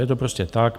Je to prostě tak.